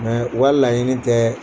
u ka laɲini tɛ